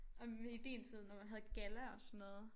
Om vi i din tid når man havde galla og sådan noget